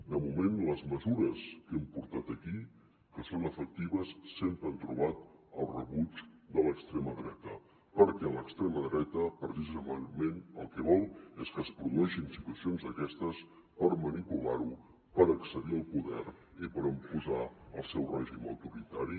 de moment les mesures que hem portat aquí que són efectives sempre han trobat el rebuig de l’extrema dreta perquè l’extrema dreta precisament el que vol és que es produeixin situacions d’aquestes per manipular ho per accedir al poder i per imposar el seu règim autoritari